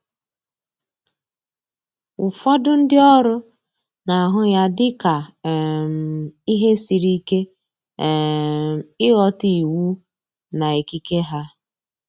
Ụfọdụ ndi oru na ahụ ya dị ka um ihe siri ike um ịghọta iwu na ikike ha